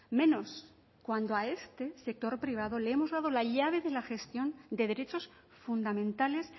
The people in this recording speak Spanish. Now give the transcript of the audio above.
menos cuando a este sector privado le hemos dado la llave de la gestión de derechos fundamentales